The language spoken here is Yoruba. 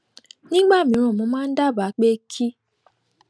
nígbà mìíràn mo máa ń dábàá pé kí